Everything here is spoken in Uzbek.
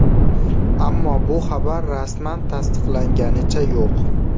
Ammo bu xabar rasman tasdiqlanganicha yo‘q.